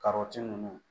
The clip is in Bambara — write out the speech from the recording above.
ninnu